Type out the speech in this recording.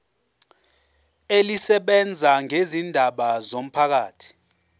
elisebenza ngezindaba zomphakathi